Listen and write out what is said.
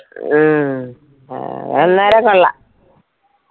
ഹും അത് അന്നേരം കൊളളാം.